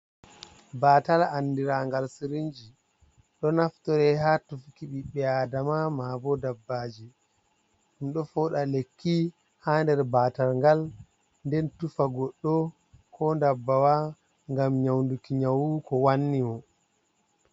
Batal anɗirangal sirinji. Ɗo naftore ha tufuki biɓbe Aɗama maabo ɗabbaji. Ɗum ɗo foɗa lekki ha nɗer batal ngal, nɗen tufa goɗɗo ko ɗabbawa ngam nyaunɗuki nyaw ko wanni mo.